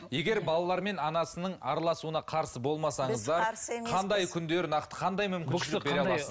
егер балалар мен анасының араласуына қарсы болмасаңыздар